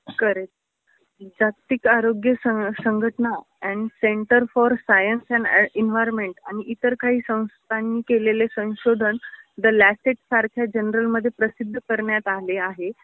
खरच. जागतिक आरोग्य संघटना and centre for science and environment आणि इतर काही संस्थांनी केलेले संशोधन द ल्यासेट सारख्या जनरलमध्ये प्रसिद्ध करण्यात आले आहे